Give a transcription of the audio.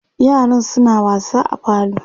yaran suna wasa a falo